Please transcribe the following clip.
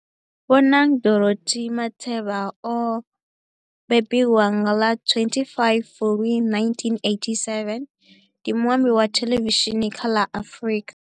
Bonang Dorothy Matheba o mbembiwa nga ḽa 25 Fulwi 1987, ndi muambi wa thelevishini kha la Afrika